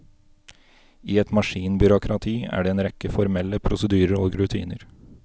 I et maskinbyråkrati er det en rekke formelle prosedyrer og rutiner.